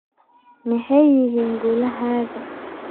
Maxay yihiin guulahaaga?